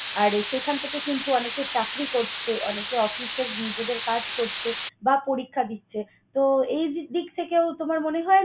আর আহ সেখান থেকে কিন্তু অনেকে চাকরি করছে, অনেকে অফিসে নিজেদের কাজ করছে বা পরীক্ষা দিচ্ছে। তো, এই দিক থেকেও তোমার মনে হয়